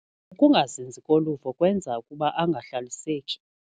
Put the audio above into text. Ukungazinzi koluvo kwenza ukuba angahlaliseki.